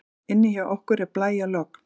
Inni hjá okkur er blæjalogn.